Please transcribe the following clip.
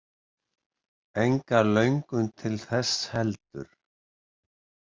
Enga löngun til þess heldur.